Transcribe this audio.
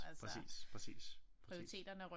Præcis præcis præcis